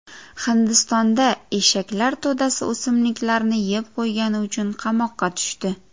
Hindistonda eshaklar to‘dasi o‘simliklarni yeb qo‘ygani uchun qamoqqa tushdi.